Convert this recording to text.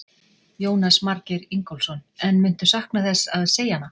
Jónas Margeir Ingólfsson: En muntu sakna þess að segja hana?